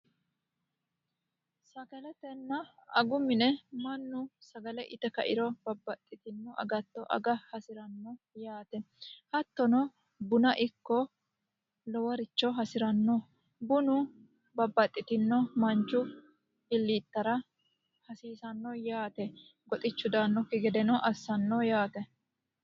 Sagaletenna agu mine mannu sagale ite kairo babbaxitino agatto aga hadiranno bunano aganno yaate bunu goxichu daannoki gede assanno yaate.